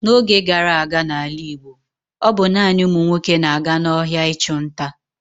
N'oge gara aga n'ala Igbo, ọ bụ naanị ụmụ nwoke na-aga n'ọhịa ịchụ nta.